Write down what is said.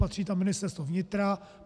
Patří tam Ministerstvo vnitra.